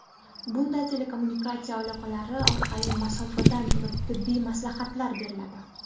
Bunda telekommunikatsiya aloqalari orqali masofadan turib tibbiy maslahatlar beriladi.